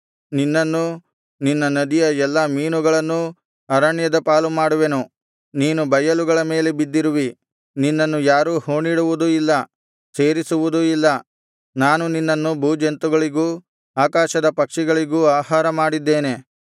ನಿನ್ನನ್ನೂ ನಿನ್ನ ನದಿಯ ಎಲ್ಲಾ ಮೀನುಗಳನ್ನೂ ಅರಣ್ಯದ ಪಾಲು ಮಾಡುವೆನು ನೀನು ಬಯಲುಗಳ ಮೇಲೆ ಬಿದ್ದಿರುವಿ ನಿನ್ನನ್ನು ಯಾರೂ ಹೂಣಿಡುವುದೂ ಇಲ್ಲ ಸೇರಿಸುವುದೂ ಇಲ್ಲ ನಾನು ನಿನ್ನನ್ನು ಭೂಜಂತುಗಳಿಗೂ ಆಕಾಶದ ಪಕ್ಷಿಗಳಿಗೂ ಆಹಾರ ಮಾಡಿದ್ದೇನೆ